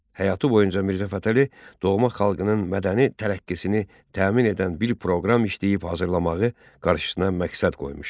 Həyatı boyunca Mirzə Fətəli doğma xalqının mədəni tərəqqisini təmin edən bir proqram işləyib hazırlamağı qarşısına məqsəd qoymuşdu.